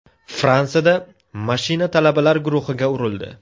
Fransiyada mashina talabalar guruhiga urildi.